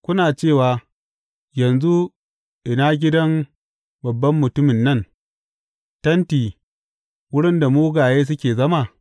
Kuna cewa, Yanzu ina gidan babban mutumin nan, tenti wurin da mugaye suke zama?’